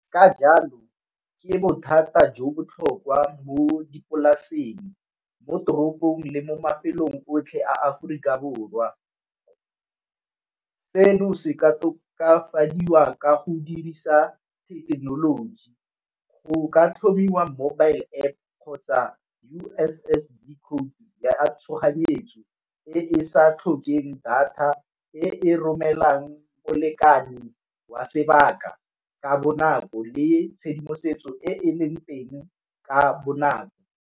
Ka jalo ke bothata jo botlhokwa mo dipolaseng, mo toropong le mo mafelong otlhe Aforika Borwa. Seno se ka tokafadiwa ka go dirisa thekenoloji, go ka tlhomiwa mobile App kgotsa U_S_S_D khoutu ya tshoganyetso e e sa tlhokeng data e e romelang molekane wa sebaka ka bonako le tshedimosetso e e leng teng ka bonako.